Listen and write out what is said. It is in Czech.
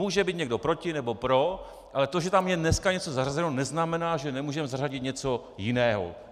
Může být někdo proti nebo pro, ale to, že tam je dnes něco zařazeno, neznamená, že nemůžeme zařadit něco jiného.